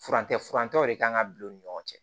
Furancɛ furancɛw de kan ka bila u ni ɲɔgɔn cɛ